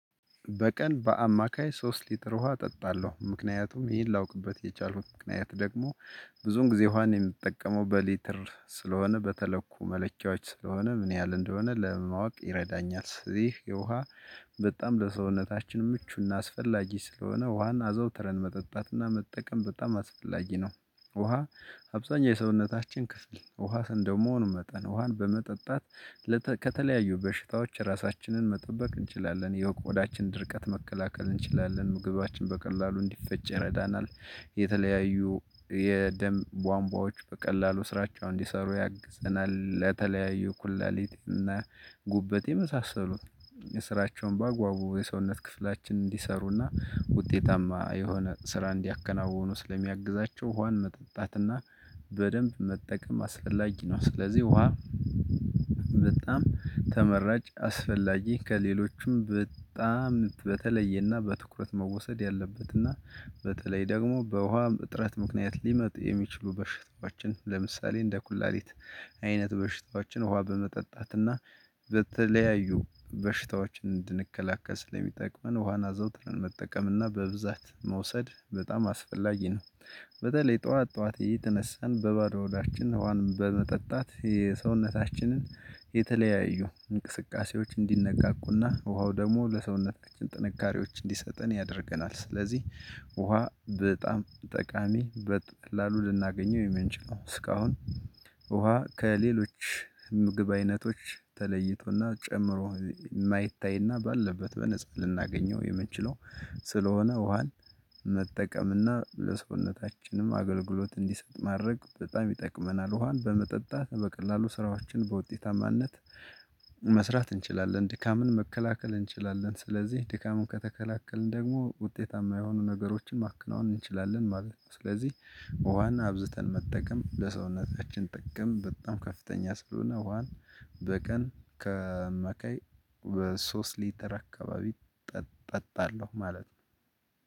በቀን በአማካይ ሶስት ሊትር ውሃ እጠጣለሁ ምክንያቱም ይሄን ላውቅበት የቻልሁት ምክንያት ደግሞ ብዙን ጊዜ ውሃን የምትጠቀመው በሊትር ስለሆነ በተለኩ መለኪያዎች ስለሆነ ምን ያህል እንደሆነ ለማወቅ ይረዳኛል። ስለዚህ የውሃ በጣም ለሰውነታችን ምቹና አስፈላጊ ስለሆነ ውሃን አዘውትረን መጠጣትና መጠቀም በጣም አስፈላጊ ነው። ውሃ አብዛኛው የሰውነታችን ክፍል ውሃ እንደመሆኑ መጠን ውሃን በመጠጣት ከተለያዩ በሽታዎች ራሳችንን መጠበቅ እንችላለን የቆዳችን ድርቀት መከላከል እንችላለን ምግባችን በቀላሉ እንዲፈጭ ይረዳናል። የተለያዩ የደም ቧንቧዎች በቀላሉ ስራቸው እንዲሰሩ ያግዘናል ለተለያዩ ኩላሊት እና ጉበት የመሳሰሉን የስራቸውን በአግባቡ የሰውነት ክፍላችን እንዲሰሩና ውጤታማ የሆነ ስራ እንዲያከናውኑ ስለሚያግዛቸው ውሃን መጠጣት እና በደንብ መጠቀም አስፈላጊ ነው። ስለዚህ ውሃ በጣም ተመራጭ አስፈላጊ ከሌሎችም በጣም በተለየና በትኩረት መወሰድ ያለበትና በተለይ ደግሞ በውሃ እጥረት ምክንያት ሊመጡ የሚችሉ በሽታዎቻችን ለምሳሌ እንደ ኩላሊት አይነት በሽታዎቻችን ውሃ በመጠጣትና በተለያዩ በሽታዎች እንድንከላከል ሰለሚጠቅመን ውሃን አዘውትረን መጠቀም እና በብዛት መውሰድ በጣም አስፈላጊ ነው። በተለይ ጠዋት ጠዋት እየተነሳን በባዶ ሆዳችን ዉሃን በመጠጣት የሰውነታችንን የተለያዩ እንቅስቃሴዎች እንዲነቃቁና ውሃው ደግሞ ለሰውነታችን ጥንካሬዎች እንዲሰጠን ያደርገናል። ስለዚህ ውሃ በጣም ጠቃሚ በቀላሉ ልናገኘው የምንችለው እስካሁን ውሃ ከሌሎች ምግብ አይነቶች ተለይቶና ጨምሮ የማይታይና ባለበት በነፃ ልናገኘው የምንችለው ስለሆነ ውሃን መጠቀም እና ለሰውነታችንም አገልግሎት እንዲሰጥ ማድረግ በጣም ይጠቅመናል። ውሃን በመጠጣት በቀላሉ ስራዎችን በውጤታማነት መስራት እንችላለን ድካምን መከላከል እንችላለን ስለዚህ ድካምን ከተከላከልን ደግሞ ውጤታማ የሆኑ ነገሮችን ማከናወን እንችላለን ማለት ነው። ስለዚህ ውሃን አብዝተን መጠቀም ለሰውነታችን ጥቅም በጣም ከፍተኛ ስለሆነ ዉሃን በቀን ከአማካይ በሶስት ሊትር አካባቢ እጠጣለሁ ማለት ነው።